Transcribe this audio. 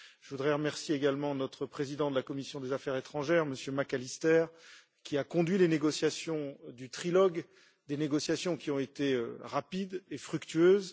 Je voudrais remercier également notre président de la commission des affaires étrangères, M. McAllister, qui a conduit les négociations du trilogue, des négociations qui ont été rapides et fructueuses.